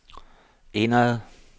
indad